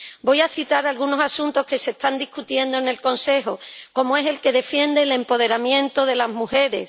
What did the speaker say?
Voy a citar algunos asuntos que se están debatiendo en el Consejo, como es el que defiende el empoderamiento de las mujeres.